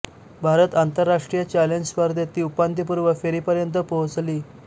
भारत आंतरराष्ट्रीय चॅलेंज स्पर्धेत ती उपांत्यपूर्व फेरीपर्यंत पोहोचली